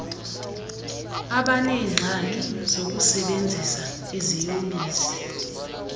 abaneengxaki zokusebenzisa iziyobisi